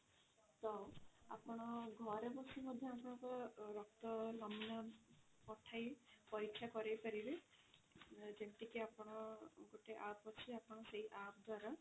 ତ ଆପଣ ଘରେ ବସି ମଧ୍ୟ ଆପଣଙ୍କ ରକ୍ତ ନମୁନା ପଠାଇ ପରୀକ୍ଷା କରେଇ ପାରିବେ ଯେମିତି କି ଆପଣ ଗୋଟେ app ଅଛି ଆପଣ ସେଇ app ଦ୍ଵାରା